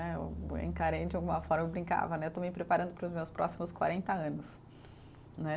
Eh eu encarei de alguma forma, eu brincava né, eu estou me preparando para os meus próximos quarenta anos né.